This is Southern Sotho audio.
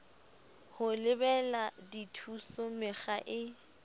ho lebela dithuso mekga e